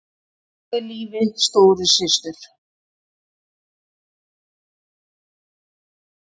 Bjargaði lífi stóru systur